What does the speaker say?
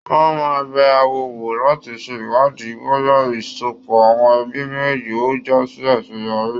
Wọn máa n bẹ áwo wò láti ṣe iwádìí bóyá ìsopò àwọn ẹbí méjéèjì ó já sí àseyọrí.